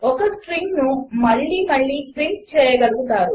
4 ఒక స్ట్రింగ్ను మళ్ళీ మళ్ళీ ప్రింట్ చేయగలుగుతారు